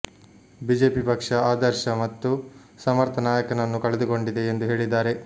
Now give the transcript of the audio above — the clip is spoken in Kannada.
ಬಿಜೆಪಿ ಪಕ್ಷ ಆದರ್ಶ ಮತ್ತು ಸಮರ್ಥ ನಾಯಕನನ್ನು ಕಳೆದುಕೊಂಡಿದೆ ಎಂದು ಹೇಳಿದ್ದಾರೆ